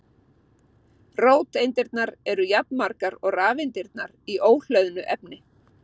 Róteindirnar eru jafnmargar og rafeindirnar í óhlöðnu efni.